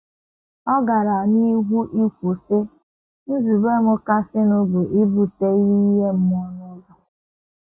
Ọ gara n’ihu ikwu, sị: “ Nzube m kasịnụ bụ ibute ihe ime mmụọ ụzọ.